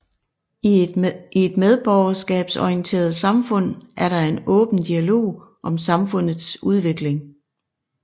I et medborgerskabsorienteret samfund er der en åben dialog om samfundets udvikling